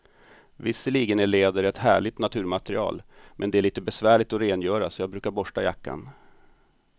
Visserligen är läder ett härligt naturmaterial, men det är lite besvärligt att rengöra, så jag brukar borsta jackan.